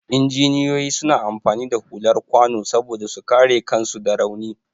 Injiniyoyi suna amfani da hular kwano saboda su kare kansu da rauni.